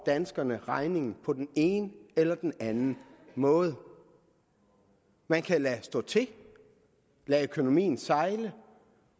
danskerne regningen på den ene eller den anden måde man kan lade stå til lade økonomien sejle